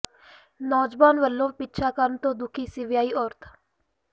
ਨੌਜਵਾਨ ਵਲੋਂ ਪਿੱਛਾ ਕਰਨ ਤੋਂ ਦੁਖੀ ਸੀ ਵਿਆਹੀ ਔਰਤ